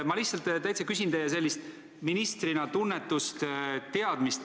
Ma lihtsalt küsin teie kui ministri tunnetust ja teadmist.